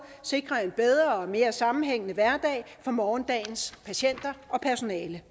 og sikre en bedre og mere sammenhængende hverdag for morgendagens patienter og personale